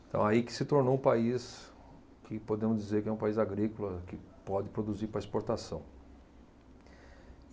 Então, aí que se tornou um país que podemos dizer que é um país agrícola, que pode produzir para exportação.